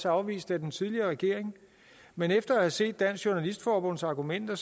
afvist af den tidligere regering men efter at have set dansk journalistforbunds argumenter